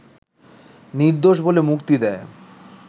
নির্দোষ বলে মুক্তি দেয়